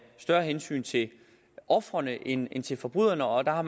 større hensyn til ofrene end til forbryderne og der har